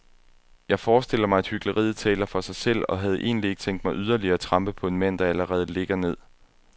Jeg forestiller mig, at hykleriet taler for sig selv, og havde egentlig ikke tænkt mig yderligere at trampe på en mand, der allerede ligger ned.